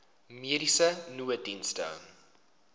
mediese nooddienste